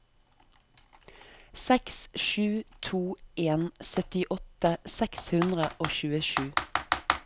seks sju to en syttiåtte seks hundre og tjuesju